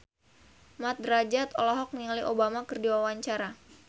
Mat Drajat olohok ningali Obama keur diwawancara